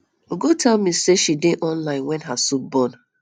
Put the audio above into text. ugo tell me say she dey online wen her soup burn